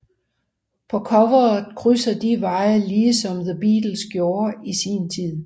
På coveret krydser de vejen lige som The Beatles gjorde i sin tid